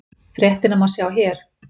Fréttina má sjá hér.